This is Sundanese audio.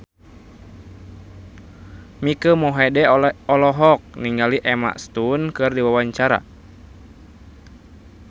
Mike Mohede olohok ningali Emma Stone keur diwawancara